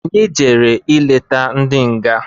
Anyị jere i leta ndị nga.